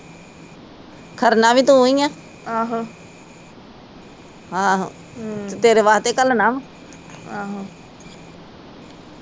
ਖੜਨਾ ਵੀ ਤੂੰ ਈਆ ਆਹੋ ਤੇਰੇ ਵਾਸਤੇ ਈ ਕਲਣਾ ਵਾ